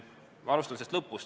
Ma alustan lõpust.